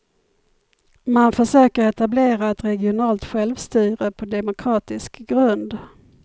Man försöker etablera ett regionalt självstyre på demokratisk grund.